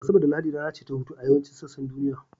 Asabar da Lahadi rana ce ta hutu a yawancin sassan duniya